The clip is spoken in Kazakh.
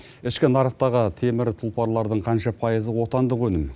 ішкі нарықтағы темір тұлпарлардың қанша пайызы отандық өнім